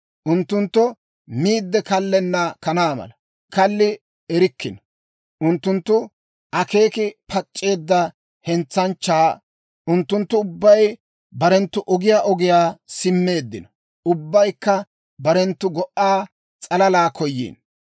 Unttunttu miide kallenna kanaa mala; kalli erikkino. Unttunttu akeeki pac'c'eedda hentsanchchaa; unttunttu ubbay barenttu ogiyaa ogiyaa simmeeddino; ubbaykka barenttu go"a s'alalaa koyiino.